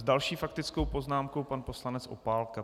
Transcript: S další faktickou poznámkou pan poslanec Opálka.